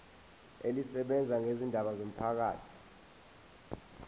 elisebenza ngezindaba zomphakathi